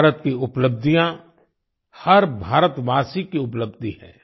भारत की उपलब्धियां हर भारतवासी की उपलब्धि है